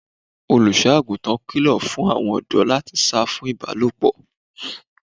Olùṣọ́-àgùntàn kilo fún àwọn ọdọ láti sá fún ibalopo.